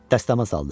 Dəstəmaz aldı.